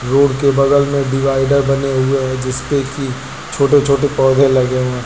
Road के बगल में डिवाइडर बने हुए हैं जिस पे कि छोटे छोटे पौधे लगे हुए हैं।